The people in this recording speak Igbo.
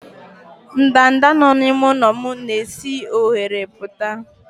ndanda nọ n'ime ụlọ m na-esi n'oghere pụta